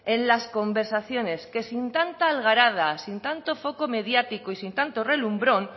en las conversaciones que sin tanta algarada sin tanto foco mediático y sin tanto relumbrón